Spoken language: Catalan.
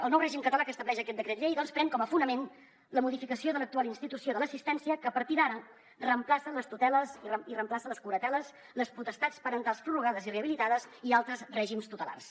el nou règim català que estableix aquest decret llei doncs pren com a fonament la modificació de l’actual institució de l’assistència que a partir d’ara reemplaça les tuteles i reemplaça les curateles les potestats parentals prorrogades i rehabilitades i altres règims tutelars